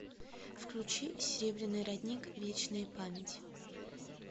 включи серебряный родник вечная память